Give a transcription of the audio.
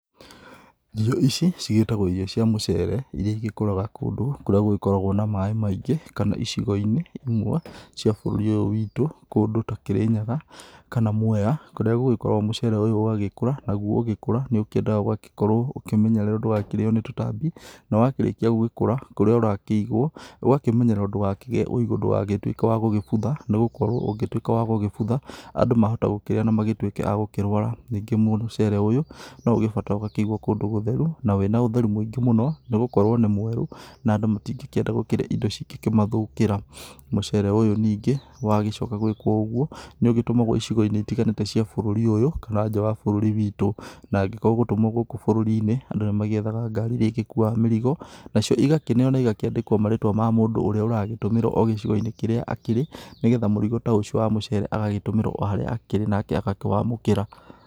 Irio ici cigĩtagwo irio cia mũcere ĩria ĩgĩkũraga kũndũ kũrĩa gũgĩkoragwo na maĩ maingĩ kana icigo-inĩ imwe cia bũrũri ũyũ wĩtũ, kũndũ ta Kĩrĩnyaga kana Mweya kũrĩa gũkoragwo mũcere ũyũ ũgagĩkũra naguo ũgĩkũra nĩ ũkĩendaga ũgakorwo ũkĩmenyererwo ndũgakĩrĩyo nĩ tũtambi. Na wakĩrĩkia gũgĩkũra kũrĩa ũrakĩigwo ũgakĩmenyererwo ndũgakĩgĩe ũigũ ndũgatuĩke wa gũgĩbutha, nĩgũkorwo ũngĩtuĩka wa gũbutha andũ mahota gũkĩrĩa na magĩtuĩke a gũkĩrwara. Ningĩ mũcere ũyũ no ũgĩbataraga ũgakĩigwo kũndũ gũtheru na wĩna ũtheru mũingĩ mũno nĩgũkorwo nĩ mwerũ na andũ matingĩkĩrĩa ĩndo cingĩkĩmathũkĩra. Mũcere ũyũ ningĩ wa gĩcoka gwĩkwo ũguo nĩ ũgĩtũmagwo icigo-inĩ ĩtiganĩte cia bũrũri ũyũ kana nja wa bũrũri witũ. Na angĩkorwo ũgũtũmwo gũkũ bũrũri-inĩ andũ nĩ magĩethaga ngari ĩrĩa ĩgĩkuwaga mĩrigo nacio ĩgakĩneyo na ĩgakĩandĩkwo marĩtwa ma mũndũ ũrĩa ũragĩtũmĩrwo o gĩcigo-inĩ kĩrĩa akĩrĩ nĩgetha mũrigo ta ũcio wa mũcere agatũmĩrwo o harĩa akĩrĩ, nake agakĩwamũkĩra.